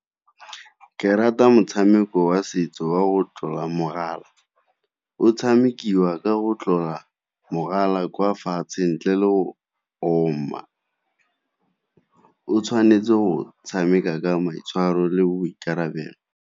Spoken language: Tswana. Ke rata motshameko wa setso wa go tlola mogala, o tshamikiwa ka go tlola mogala kwa fatshe ntle le go . O tshwanetse go tshameka ka maitshwaro le boikarabelo.